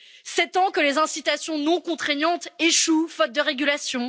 Sept ans que les incitations non contraignantes échouent faute de régulation.